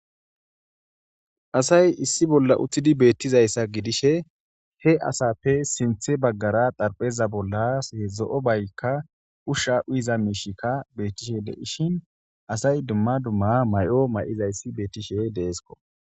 Asay issi bolla uttidi bettizaysa gidishe he asappe sinththe baggara xarphpheza bolla zo'o bayika ushsha uyizza bayika mishika bettishe dishin asayi duma duma mayo mayiday bettishe dessko